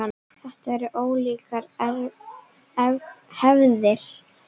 Þetta eru ólíkar hefðir.